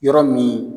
Yɔrɔ min